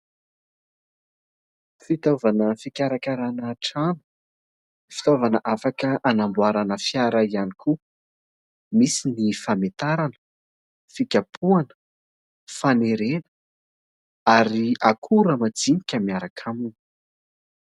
Fitaovana fikarakarana trano, fitaovana afaka anamboarana fiara ihany koa, misy ny fametarana, fikapohana, fanerena ary akora majinika miaraka aminy.